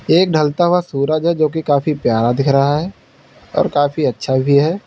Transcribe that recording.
एक ढलता हुआ सूरज है जो की काफी प्यारा दिख रहा है और काफी अच्छा भी है।